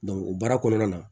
o baara kɔnɔna na